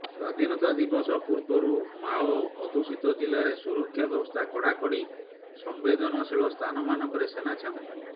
ସ୍ୱାଧୀନତା ଦିବସ ପୂର୍ବରୁ ମାଓ ଅଧ୍ୟୁଷିତ ଜିଲ୍ଲାରେ ସୁରକ୍ଷା ବ୍ୟବସ୍ଥା କଡ଼ାକଡ଼ି ସମ୍ବେଦନଶୀଳ ସ୍ଥାନମାନଙ୍କରେ ସେନା ଛାଉଣୀ